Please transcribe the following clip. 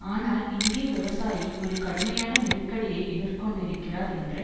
ஆனால் இந்திய விவசாயி ஒரு கடுமையான நெருக்கடியை எதிர்கொண்டிருக்கிறார் என்று